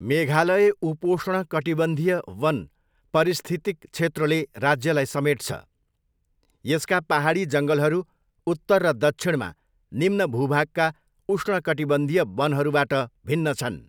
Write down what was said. मेघालय उपोष्ण कटिबन्धीय वन परिस्थितिक क्षेत्रले राज्यलाई समेट्छ, यसका पाहाडी जङ्गलहरू उत्तर र दक्षिणमा निम्न भूभागका उष्णकटिबन्धीय वनहरूबाट भिन्न छन्।